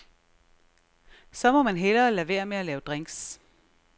Så må man hellere lade være med at lave drinks.